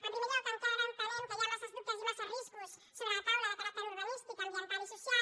en primer lloc encara entenem que hi ha massa dubtes i massa riscos sobre la taula de caràcter urbanístic ambiental i social